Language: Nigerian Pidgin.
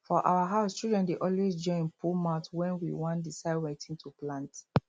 for our house children dey always join put mouth when we wan decide wetin to plant